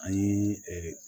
An ye